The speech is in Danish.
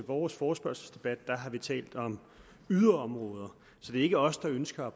vores forespørgselsdebat har vi talt om yderområder så det er ikke os der ønsker at